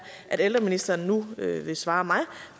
at ældreministeren nu vil svare mig